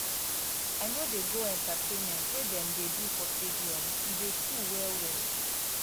i no dey go entertainment wey dem dey do for stadium e dey full well-well.